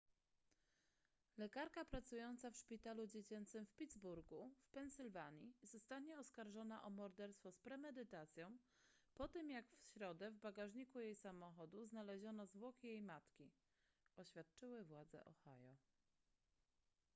lekarka pracująca w szpitalu dziecięcym w pittsburgu w pensylwanii zostanie oskarżona o morderstwo z premedytacją po tym jak w środę w bagażniku jej samochodu znaleziono zwłoki jej matki oświadczyły władze ohio